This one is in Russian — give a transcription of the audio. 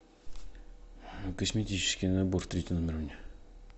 косметический набор в третий номер мне